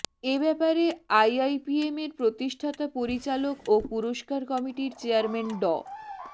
এ ব্যাপারে আইআইপিএমের প্রতিষ্ঠাতা পরিচালক ও পুরস্কার কমিটির চেয়ারম্যান ড